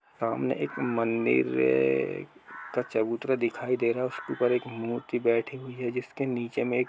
सामने एक मंदिर में- का चबूतरा दिखाई दे रहा है उसके ऊपर एक मूर्ति बैठी हुई है जिसके नीचे में --